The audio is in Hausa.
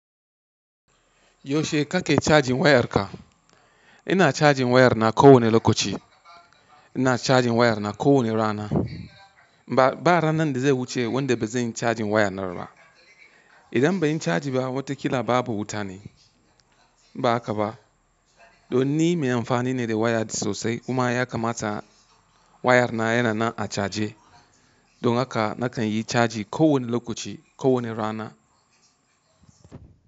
Yaushe kake cajin wayarka? Ina cajin wayar na kowani lokaci. Ina cajin wayar na kowane rana. Ba, ba ranar da zai wuce wanda ba zan yi cajin waya na ba. Idan bai yi caji ba, watakila babu wuta ne, in ba haka ba? Don ni mai amfani ne da waya sosai. Kuma ya kamata wayar na yana nan a caje. Don haka na kan yi caji kowane lokaci, kowane rana.